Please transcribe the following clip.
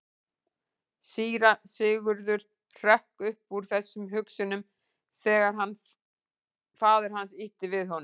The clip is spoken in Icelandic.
Síra Sigurður hrökk upp úr þessum hugsunum þegar að faðir hans ýtti við honum.